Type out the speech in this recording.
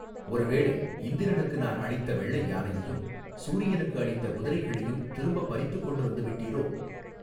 ஒரு வேளை இந்திரனுக்கு நான் அளித்த வெள்ளை யானையையும் சூரியனுக்கு அளித்த குதிரைகளையும் திரும்பப் பறித்துக் கொண்டு வந்து விட்டீரோ.